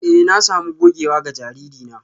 Eh na sami gogewa ga jariri na